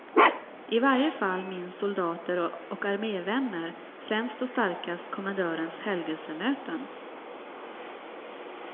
I varje fall minns soldater och armévänner främst och starkast kommendörens helgelsemöten.